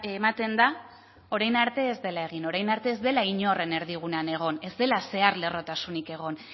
ematen da orain arte ez dela egin orain arte ez dela inoren erdigunean egon ez dela zeharlerrotasunik egon